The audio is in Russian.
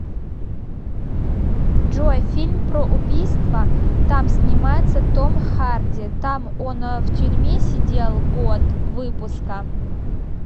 джой фильм про убийства там снимается том харди там он в тюрьме сидел год выпуска